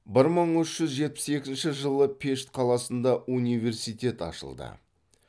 бір мың үш жүз жетпіс екінші жылы пешт қаласында университет ашылды